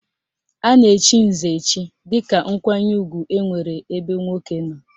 A na-echi nze echi dịka nkwanye ugwu enwere ebe nwoke nọ